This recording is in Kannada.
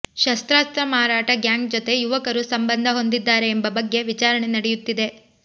ಶಸ್ತ್ರಾಸ್ತ್ರ ಮಾರಾಟ ಗ್ಯಾಂಗ್ ಜೊತೆ ಯುವಕರು ಸಂಬಂಧ ಹೊಂದಿದ್ದಾರೆ ಎಂಬ ಬಗ್ಗೆ ವಿಚಾರಣೆ ನಡೆಯುತ್ತಿದೆ